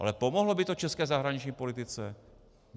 Ale pomohlo by to české zahraniční politice?